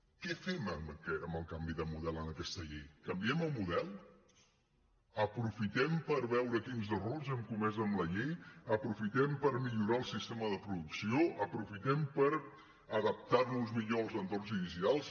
què fem amb el canvi de model en aquesta llei canviem el model aprofitem per veure quins errors hem comès en la llei aprofitem per millorar el sistema de producció aprofitem per adaptar nos millor als entorns digitals